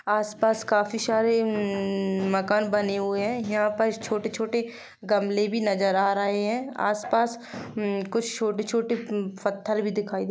आसपास काफी सारे मकान बने हुए हैं यहाँ पर छोटे छोटे गमले नजर आ रही हैं आसपास कुछ छोटे-छोटे पत्थर भी दिखाई--